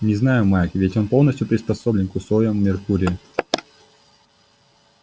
не знаю майк ведь он полностью приспособлен к условиям меркурия